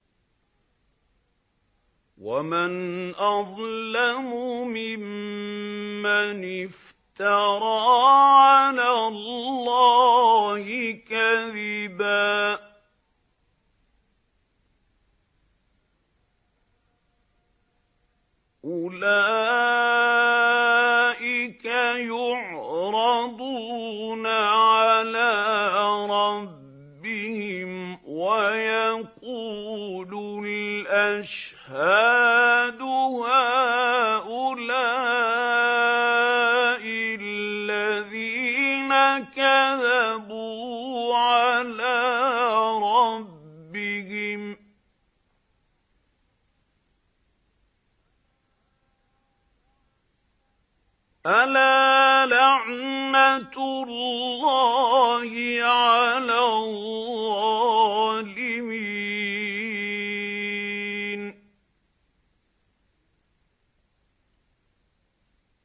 وَمَنْ أَظْلَمُ مِمَّنِ افْتَرَىٰ عَلَى اللَّهِ كَذِبًا ۚ أُولَٰئِكَ يُعْرَضُونَ عَلَىٰ رَبِّهِمْ وَيَقُولُ الْأَشْهَادُ هَٰؤُلَاءِ الَّذِينَ كَذَبُوا عَلَىٰ رَبِّهِمْ ۚ أَلَا لَعْنَةُ اللَّهِ عَلَى الظَّالِمِينَ